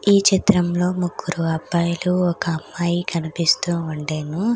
ఈ చిత్రంలో ముగ్గురు అబ్బాయిలు ఒక అమ్మాయి కనిపిస్తూ ఉండెను.